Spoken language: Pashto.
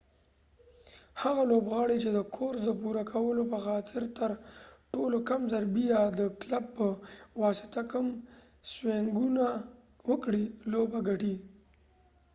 هغه لوبغاړی چې د کورس د پوره کولو په خاطر تر ټولو کم ضربی یا د کلب په واسطه کم سوينګونه وکړي لوبه ګټی